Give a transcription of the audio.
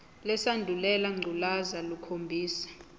lesandulela ngculazi lukhombisa